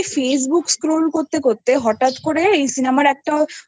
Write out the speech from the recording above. FacebookScroolকরতে করতে হঠাৎ করে এই সিনেমার একটা